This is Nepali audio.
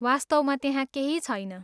वास्तवमा त्यहाँ केही छन्।